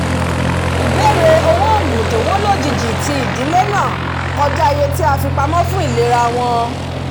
ìbèrè fún owó oògùn to wọ́n lójijì ti ìdílé náà kọjá iye tí a fipamọ fún ìlera wọn